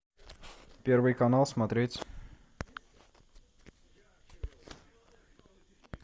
первый канал смотреть